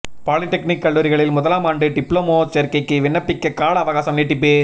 polytechnic கல்லூரிகளில் முதலாமாண்டு diploma சோ்க்கைக்கு விண்ணப்பிக்க கால அவகாசம் நீட்டிப்பு